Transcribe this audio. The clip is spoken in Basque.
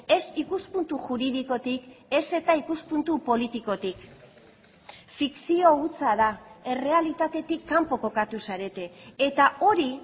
ez ikuspuntu juridikotik ez eta ikuspuntu politikotik fikzio hutsa da errealitatetik kanpo kokatu zarete eta hori